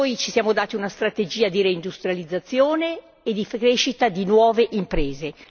Ci siamo dati una strategia di reindustrializzazione e di crescita di nuove imprese